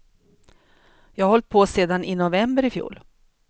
Jag har hållt på sedan i november i fjol.